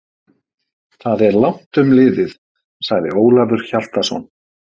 Það er langt um liðið, sagði Ólafur Hjaltason.